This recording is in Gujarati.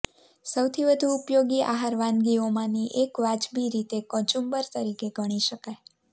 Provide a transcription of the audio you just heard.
સૌથી વધુ ઉપયોગી આહાર વાનગીઓમાંની એક વાજબી રીતે કચુંબર તરીકે ગણી શકાય